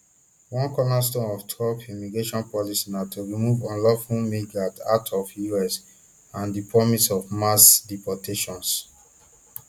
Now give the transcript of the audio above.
one cornerstone of trump immigration policy na to remove unlawful migrants out of us and di promise of mass deportations